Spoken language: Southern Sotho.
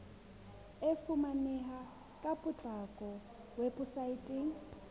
e fumaneha ka potlako weposaeteng